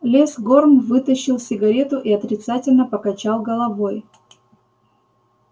лес горм вытащил сигарету и отрицательно покачал головой